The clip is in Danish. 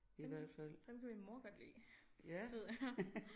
Ham ham kan min mor godt lide ved jeg